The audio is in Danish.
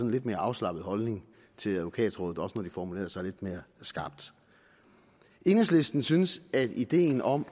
lidt mere afslappet holdning til advokatrådet også når de formulerede sig lidt mere skarpt enhedslisten synes at ideen om